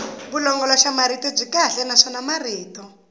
vulongoloxamarito byi kahle naswona marito